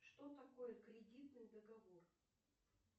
что такое кредитный договор